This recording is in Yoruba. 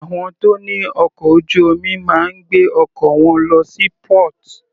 Àwọn tó ní ọkọ̀ ojú omi máa ń gbé ọkọ̀ wọn lọ sí port.